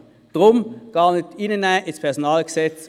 Deshalb soll sie gar nicht ins PG aufgenommen werden.